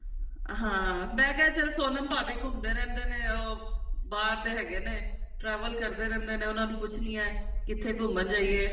ਹਾਂ ਮੈਂ ਕਿਹਾ ਚਲ ਸੋਨਮ ਭਾਬੀ ਘੁਮੰਦੇ ਰਹਿੰਦੇ ਨੇ ਉਹ ਬਾਹਰ ਦੇ ਹੈਗੇ ਨੇ travel ਕਰਦੇ ਰਹਿੰਦੇ ਨੇ ਉਹਨਾ ਨੂੰ ਪੁੱਛਦੀ ਹਾਂ ਕਿੱਥੇ ਘੁਮੰਣ ਜਾਈਏ